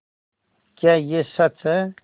क्या यह सच है